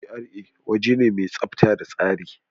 GRA waje ne mai tsafta da tsari.